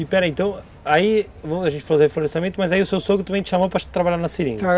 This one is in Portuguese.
E pera, então, aí, a gente falou de reflorestamento, mas aí o seu sogro também te chamou para trabalhar na seringa.